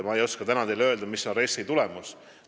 Ma ei oska täna teile öelda, mis on RES-i tulemus.